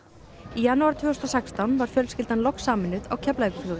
janúar tvö þúsund og sextán var fjölskyldan loks sameinuð á Keflavíkurflugvelli